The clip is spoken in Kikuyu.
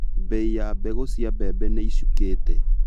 Mbei ya mbegũ cia mbembe nĩicukite.